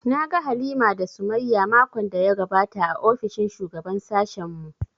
Na ga Halima da Sumayya makon da ya gabata a ofishin shugaban sashen mu